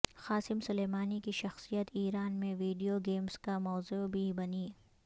Qasim Soleimani کی شخصیت Iran میں ویڈیو گیمز کا موضوع بھی بنی